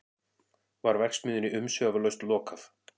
Var verksmiðjunni umsvifalaust lokað